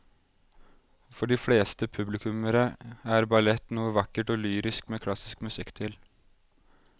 For de fleste publikummere er ballett noe vakkert og lyrisk med klassisk musikk til.